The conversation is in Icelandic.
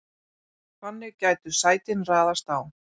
Þannig gætu sætin raðast á